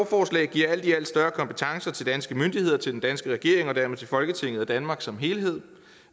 giver alt i alt større kompetence til danske myndigheder til den danske regering og dermed til folketinget og danmark som helhed